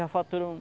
já faturou